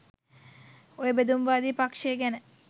ඔය බෙදුම්වාදී පක්ෂය ගැන